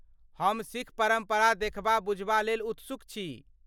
हम सिख परम्परा देखबा बुझबा लेल उत्सुक छी।